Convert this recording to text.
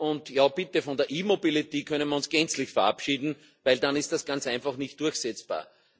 Und von der E Mobility können wir uns gänzlich verabschieden, denn dann ist das Ganze einfach nicht durchsetzbar.